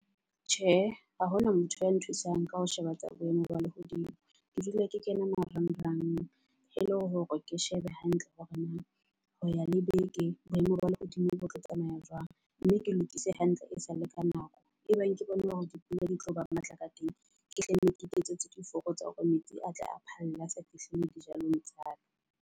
Tjhe ha hona motho ya nthusang ka ho sheba tsa boemo ba lehodimo ke dula ke kena marang rang. E le hore ke shebe hantle hore na ho ya le beke boemo ba lehodimo bo tlo tsamaya jwang. Mme ke lokise hantle e sa le ka nako e bang ke bone hore dipula di tlo ba matla ka teng. Ke hlenne, ke iketsetse diforo tsa hore metsi a tle a phalle a sa fihling dijalong tsa ka.